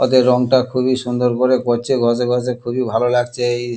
ওদের রংটা খুবই সুন্দর করে করছে ঘষে ঘষে খুবই ভালো লাগছে এই--